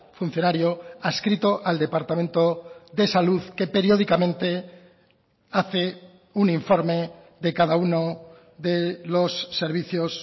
funcionario adscrito al departamento de salud que periódicamente hace un informe de cada uno de los servicios